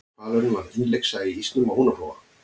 hvalurinn varð innlyksa í ísnum á húnaflóa